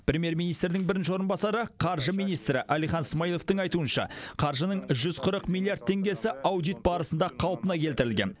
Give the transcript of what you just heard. премьер министрдің бірінші орынбасары қаржы министрі әлихан смайыловтың айтуынша қаржының жүз қырық миллиард теңгесі аудит барысында қалпына келтірілген